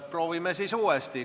Proovime uuesti.